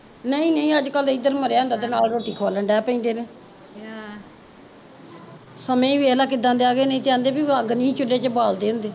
ਨਹੀਂ ਨਹੀਂ ਅੱਜ ਕੱਲ ਤੇ ਏਦਰ ਮਰਿਆ ਹੁੰਦਾ ਐ ਤੇ ਨਾਲ਼ ਰੋਟੀ ਖਵਾਲਣ ਬੈਠ ਜਾਂਦੇ ਨੇ ਆਹ ਸਮੇ ਦੇਖਲਾ ਕਿੱਦਾਂ ਦੇ ਆਗੇ ਨਹੀਂ ਕਹਿੰਦੇ ਸੀ ਵੀ ਅੱਗ ਨੀ ਸੀ ਚਉਲੇ ਚ ਬਾਲਦੇ ਹੁੰਦੇ